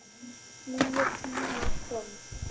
Nýir tímar komu.